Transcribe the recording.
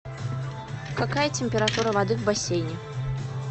какая температура воды в бассейне